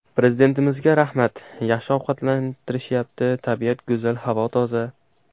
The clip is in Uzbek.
Prezidentimizga rahmat, yaxshi ovqatlantirishyapti, tabiat go‘zal, havo toza.